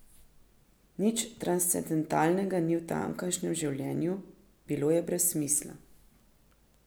Nič transcendentalnega ni v tamkajšnjem življenju, bilo je brez smisla.